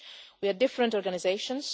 We are different organisations